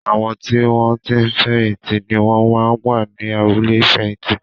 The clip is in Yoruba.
Àwọn tí wọn ti fẹ̀yìn tì ni wón máa ń wà ní abúlé ìfẹ̀yìntì